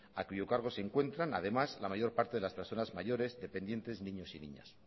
a cuyo cargo se encuentran además la mayor parte de las personas mayores dependientes niños y niñas